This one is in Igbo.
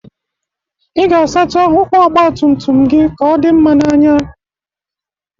Ị ga-asacha ụkwụ ọgbatumtum gị ka ọ dị mma n'anya